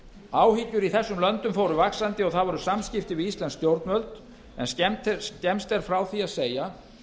áhyggjur í þessum löndum fóru vaxandi og það voru samskipti við íslensk stjórnvöld en skemmst er frá því að segja